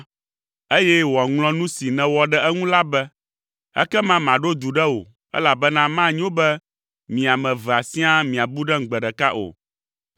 eye wòaŋlɔ nu si nèwɔ ɖe eŋu la be. Ekema maɖo du ɖe wò, elabena manyo be mi ame evea siaa miabu ɖem gbe ɖeka o.”